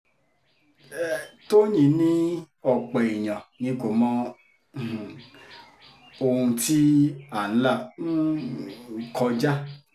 tọ́yìn ni ọ̀pọ̀ èèyàn ni kò mọ um ohun tí à ń là um kọjá